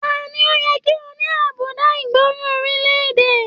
Taní o yẹ kí o ní àbùdá ìgbọràn orilẹ-èdè?